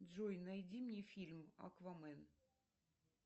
джой найди мне фильм аквамен